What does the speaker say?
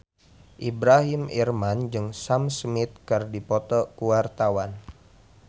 Ibrahim Imran jeung Sam Smith keur dipoto ku wartawan